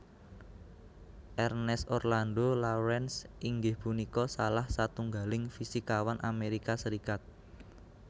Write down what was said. Ernest Orlando Lawrence inggih punika salah satunggaling fisikawan Amerika Serikat